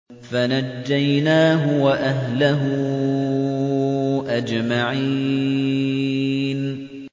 فَنَجَّيْنَاهُ وَأَهْلَهُ أَجْمَعِينَ